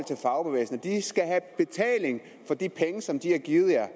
fagbevægelsen de skal have betaling for de penge som de har givet jer